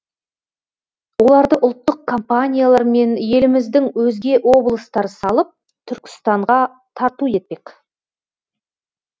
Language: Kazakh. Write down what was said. оларды ұлттық компаниялар мен еліміздің өзге облыстары салып түркістанға тарту етпек